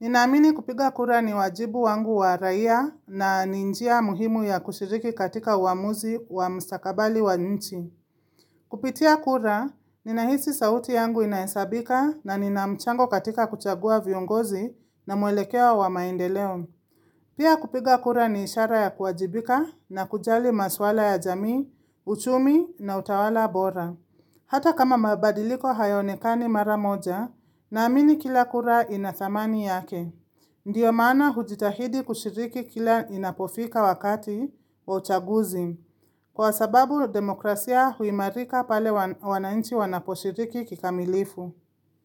Ninaamini kupiga kura ni wajibu wangu wa raia na ni njia muhimu ya kushiriki katika uamuzi wa mstakabali wa nchi. Kupitia kura, ninahisi sauti yangu inahesabika na nina mchango katika kuchagua viongozi na mwelekeo wa maendeleo. Pia kupiga kura ni ishara ya kuwajibika na kujali maswala ya jamii, uchumi na utawala bora. Hata kama mabadiliko hayaonekani mara moja naamini kila kura ina thamani yake. Ndiyo maana hujitahidi kushiriki kila inapofika wakati wa uchaguzi. Kwa sababu demokrasia huimarika pale wanainchi wanaposhiriki kikamilifu.